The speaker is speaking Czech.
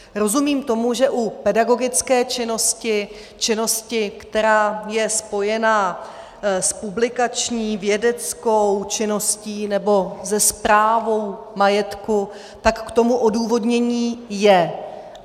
Rozumím tomu, že u pedagogické činnosti, činnosti, která je spojena s publikační, vědeckou činností nebo se správou majetku, tak k tomu odůvodnění je.